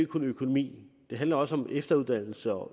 kun økonomi det handler også om efteruddannelse og